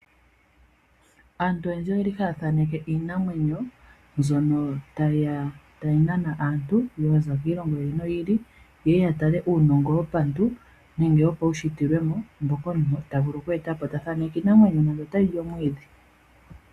Aantu oyendji oyeli haya thaaneke iinamwenyo mbyono tayi nana aantu ya za kiilongo yi ili noyi ili , ye ya tale uunongo wopantu nenge wopaushitilwemo mboka omuntu ta vulu okweeta po, ta thaaneke iinamwenyo nande otayi li omwiidhi.